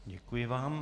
Děkuji vám.